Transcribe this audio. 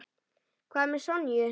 Hvað með Sonju?